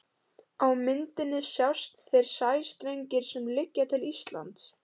á myndinni sjást þeir sæstrengir sem liggja til íslands